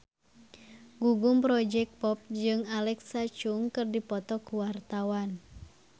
Gugum Project Pop jeung Alexa Chung keur dipoto ku wartawan